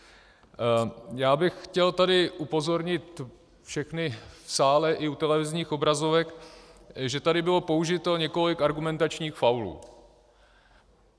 Já bych chtěl tady upozornit všechny v sále i u televizních obrazovek, že tady bylo použito několik argumentačních faulů.